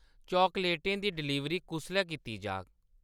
चॉकलेटें दी डिलीवरी कुसलै कीती जाह्ग ?